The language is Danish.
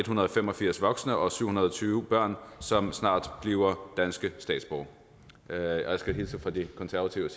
hundrede og fem og firs voksne og syv hundrede og tyve børn som snart bliver danske statsborgere og jeg skal hilse fra de konservative